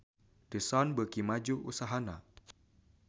The Sun beuki maju usahana